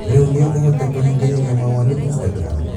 Rĩũ nĩ ũkũhota kũhingĩrĩria mawoni Instagram